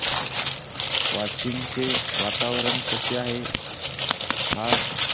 वाशिम चे वातावरण कसे आहे आज